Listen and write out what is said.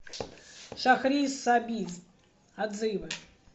шахрисабиз отзывы